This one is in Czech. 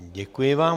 Děkuji vám.